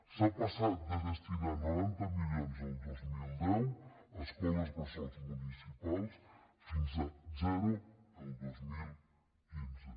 s’ha passat de destinar noranta milions el dos mil deu a escoles bressol municipals fins a zero el dos mil quinze